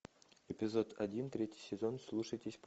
эпизод один третий сезон слушайтесь